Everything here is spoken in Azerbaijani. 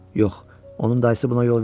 Yox, onun dayısı buna yol verməz.